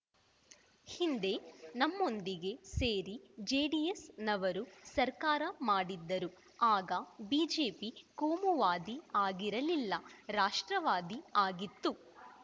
ಹಿಂದೆ ನಮ್ಮೊಂದಿಗೆ ಸೇರಿ ಜೆಡಿಎಸ್‌ನವರು ಸರ್ಕಾರ ಮಾಡಿದ್ದರು ಆಗ ಬಿಜೆಪಿ ಕೋಮುವಾದಿ ಆಗಿರಲಿಲ್ಲ ರಾಷ್ಟ್ರವಾದಿ ಆಗಿತ್ತು